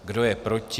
Kdo je proti?